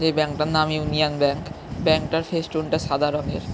এই ব্যাঙ্ক টার নাম ইউনিয়ন ব্যাঙ্ক । ব্যাঙ্ক টার ফেস্টুন টা সাদা রঙের।